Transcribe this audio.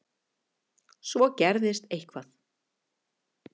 Svo gerðist eitthvað.